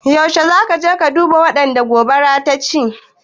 Yaushe za ka duba waɗanda gobara ta ci?